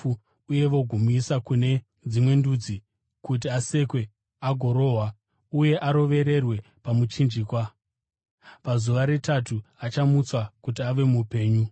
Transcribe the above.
uye vagomuisa kune veDzimwe Ndudzi kuti asekwe agorohwa uye arovererwe pamuchinjikwa. Pazuva retatu achamutswa kuti ave mupenyu!”